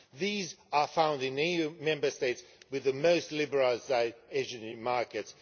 These are found in the EU Member States with the most liberal energy markets.